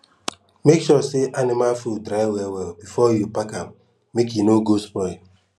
make sure say anima food dry well well before you pack am make e no go spoil